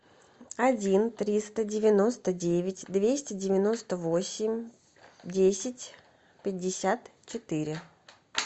один триста девяносто девять двести девяносто восемь десять пятьдесят четыре